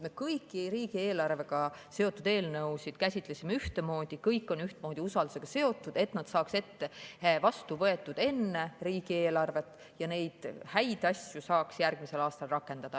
Me kõiki riigieelarvega seotud eelnõusid käsitlesime ühtemoodi, kõik on ühtmoodi usaldus seotud, et nad saaks vastu võetud enne riigieelarvet ja neid häid asju saaks järgmisel aastal rakendada.